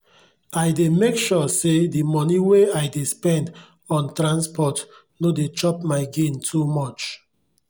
i dey make sure say the moni wey i dey spend on transport no dey chop my gain too much.